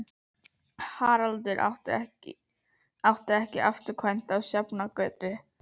Haraldur átti ekki afturkvæmt á Sjafnargötu.